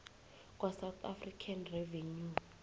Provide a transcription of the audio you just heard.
kwasouth african revenue